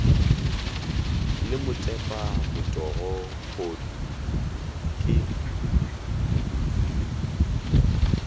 le motepa motogo kgodu ke